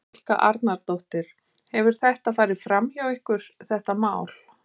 Helga Arnardóttir: Hefur þetta farið bara fram hjá ykkur þetta mál?